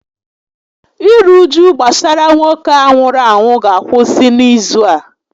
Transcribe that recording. Iru uju gbasara nwoke a nwụrụ anwụ ga akwụsị n'izu a